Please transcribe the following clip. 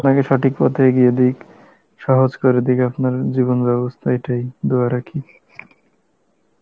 আপনাকে সঠিক পথে এগিয়ে দিক সহজ করে দিক আপনার জীবন ব্যবস্থা এটাই Hindi রাখি